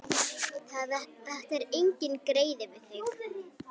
Þetta var enginn greiði við þig.